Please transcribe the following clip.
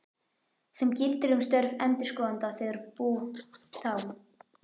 sem gildir um störf endurskoðanda þegar bú, þám.